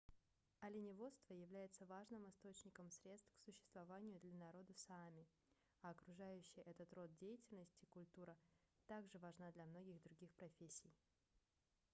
оленеводство является важным источником средств к существованию для народа саами а окружающая этот род деятельности культура также важна для многих других профессий